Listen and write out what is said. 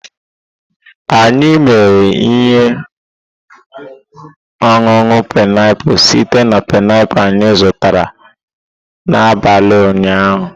Anyị mere ihe ọṅụṅụ painiapulu site na painiapulu anyị zụtara n'abalị ụnyaahụ.